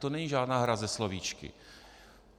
To není žádná hra se slovíčky.